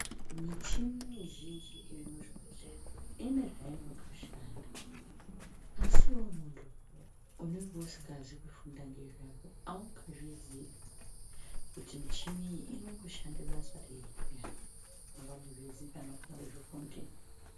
Muchini mizhinji iri muzvibhehleya ine zvainotoshanda ASI iwewe muntu unenge usina kufunda nezvazvo aungazviyi pheya muchini iyi inomboshanda basa rei peyani haungazviziyi kana usina kuzvifunda.